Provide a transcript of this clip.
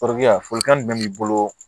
folikan jumɛn b'i bolo